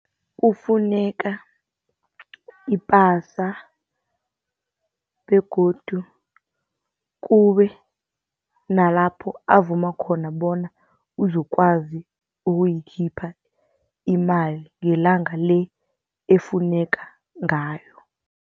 Kufuneka ipasa begodu kube nalapho avuma khona bona uzokwazi ukuyikhipha imali ngelanga le efuneka ngayo.